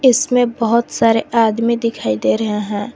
इसमें बहोत सारे आदमी दिखाई दे रहे हैं।